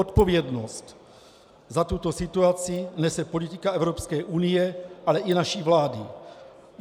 Odpovědnost za tuto situaci nese politika Evropské unie, ale i naší vlády.